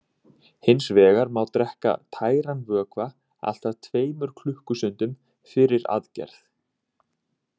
Hins vegar má drekka tæran vökva allt að tveimur klukkustundum fyrir aðgerð.